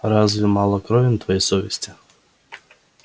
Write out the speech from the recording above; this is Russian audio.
разве мало крови на твоей совести